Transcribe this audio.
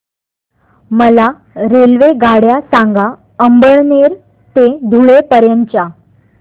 मला रेल्वेगाड्या सांगा अमळनेर ते धुळे पर्यंतच्या